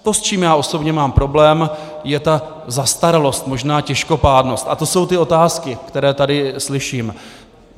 To, s čím já osobně mám problém, je ta zastaralost, možná těžkopádnost, a to jsou ty otázky, které tady slyším.